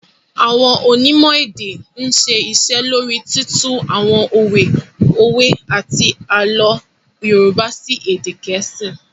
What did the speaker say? Àwọn Onímò èdè ń ṣe iṣẹ́ lóríi títú àwọn òwe àti àlọ́ Yorùbá sí èdè Geesi